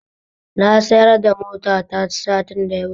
Na sayar da motata satin da yawuce